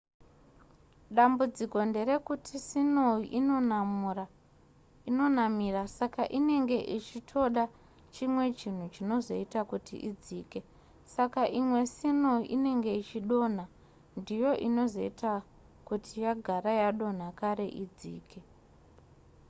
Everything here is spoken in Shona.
dambudziko nderekuti sinou inonamira saka inenge ichitoda chimwe chinhu chinozoita kuti idzike saka imwe sinou inenge ichidonha ndiyo inozoita kuti yagara yadonha kare idzike